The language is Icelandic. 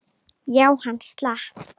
Já, hann slapp.